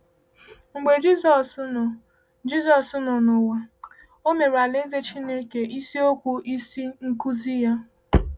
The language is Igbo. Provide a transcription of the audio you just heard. Mgbe Jisọs nọ Jisọs nọ n’ụwa, ọ mere Alaeze Chineke isiokwu isi n’ọkụzi ya.